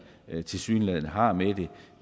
tilsyneladende har med det